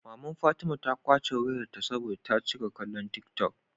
Maman fatima ta kwace wayar ta saboda ta cika kallon tik tok